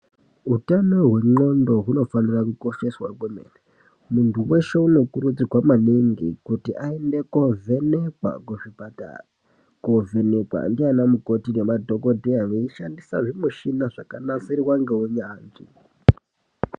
Utano hwendxondo hunofanira kukosheswa kwemene muntu weshe unokurudzirwa maningi kuti aende kovhenekwa kuzvipatara kovhenekwa ndianamukoti nemadhokodheya veishandisa zvimushina zvakanasirwa ngeunyanzvi.